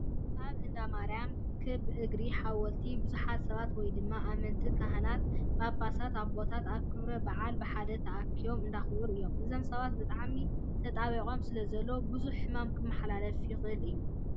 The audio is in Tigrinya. ኣብ እንዳ-ማርያም ከብ እግሪ ሓወልቲ ብዙሓት ሰባት ወይ ድማ ኣመንቲ ካህናትን ፓፓሳት ኣቦታትን ኣብ ክብረ-ባዓል ብሓደ ተኣኪቦም እንዳኣክበሩ እዮም። እዞም ሰባት ብጣዕሚ ተጣባቢቆም ስለዘለው ብዙሓት ሕማማት ክመሓላለፉ ይክእሉ እዮም።